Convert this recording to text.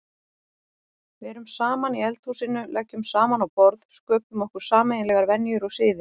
Verum saman í eldhúsinu, leggjum saman á borð, sköpum okkur sameiginlegar venjur og siði.